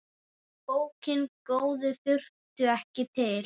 Bókina góðu þurfti ekki til.